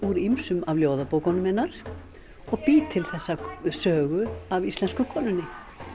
úr ýmsum af ljóðabókunum hennar og bý til þessa sögu af íslensku konunni